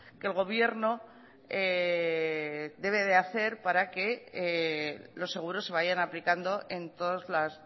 que el gobierno debe de hacer para que los seguros se vayan aplicando en todas las